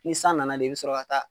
Ni san nana de, i bi sɔrɔ ka a ka